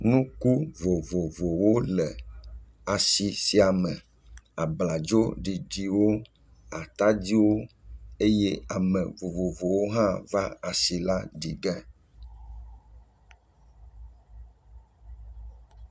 Nuku vovovowo le asi sia me; abladzo ɖiɖiwo, atadiwo, eye ame vovovowo hã va asi la ɖi ge.